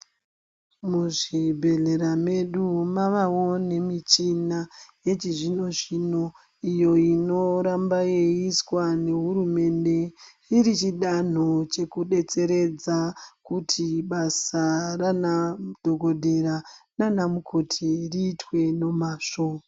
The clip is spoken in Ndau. Muzvibhedhlera medu mavawo nemichona yechizvinozvino iyo inoramba yeiiswa nehurumende chiri chidanho chekubetseredza kuti basa Rana dhokodheya nana mukoti riitwe nemazvo.